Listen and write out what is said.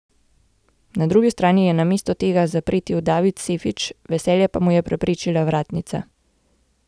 Na drugi strani je namesto tega zapretil David Sefič, veselje pa mu je preprečila vratnica.